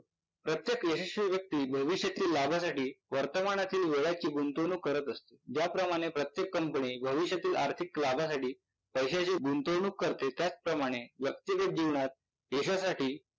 प्रत्येक रहाशी व्यक्ती भविष्यातील लाभासाठी वर्तमानातील वेळा ची गुंतवणूक करत असते ज्याप्रमाणे प्रत्येक कंपनी भविष्यातील आर्थिक लाभासाठी पैश्याची गुंतवणूक करते त्याचप्रमाणे व्यक्तिगत जीवनात यशासाठी